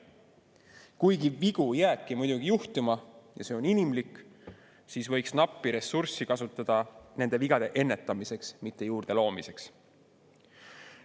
Kuigi vigu jääbki muidugi juhtuma ja see on inimlik, aga nappi ressurssi võiks kasutada nende vigade ennetamiseks, mitte juurde loomiseks.